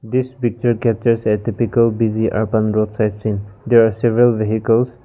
this picture captures ethipical busy open road side seen there are several vehicles.